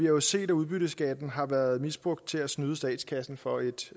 jo set at udbytteskatten har været misbrugt til at snyde statskassen for et